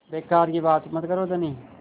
बेकार की बात मत करो धनी